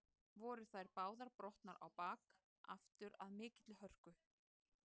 Voru þær báðar brotnar á bak aftur af mikilli hörku.